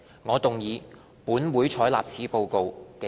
我動議"本會採納此報告"的議案。